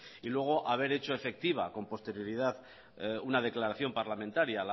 y luego haber hecho efectiva con posterioridad una declaración parlamentaria a